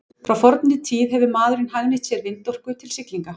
Frá fornri tíð hefur maðurinn hagnýtt sér vindorku til siglinga.